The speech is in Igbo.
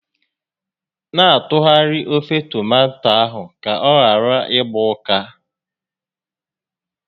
Na atụgharị ofe tomato ahụ ka ọ ghara ịgba ọkụ